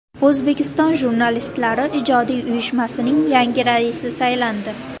O‘zbekiston Jurnalistlari ijodiy uyushmasining yangi raisi saylandi.